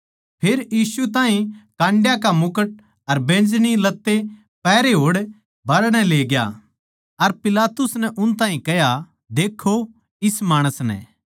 फेर यीशु ताहीं काण्डयाँ का मुकुट अर बैंजनी लत्ते पहरे होड़ बाहरणै लेग्या अर पिलातुस नै उन ताहीं कह्या देक्खों इस माणस नै